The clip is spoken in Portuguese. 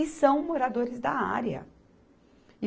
E são moradores da área.